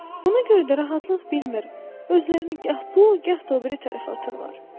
Buna görə də rahatlıq bilmir, özlərini gah bu, gah da o biri tərəfə atırlar.